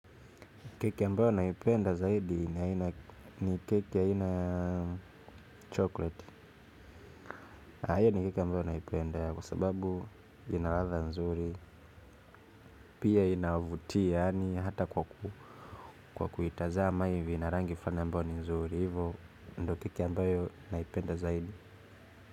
Keki ambayo naipenda zaidi ni keki aina ya chokoleti. Hiyo ni keki ambayo naipenda kwa sababu ina radha nzuri. Pia inavutia hata kwa kuitazama ina rangi fulani ambayo ni nzuri. Hivo ndo keki ambayo naipenda zaidi.